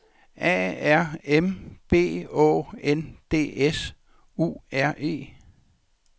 A R M B Å N D S U R E